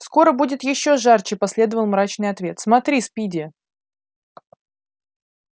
скоро будет ещё жарче последовал мрачный ответ смотри спиди